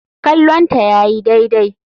Kallonta yayi daidai.